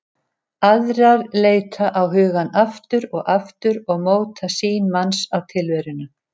Aðrar leita á hugann aftur og aftur og móta sýn manns á tilveruna.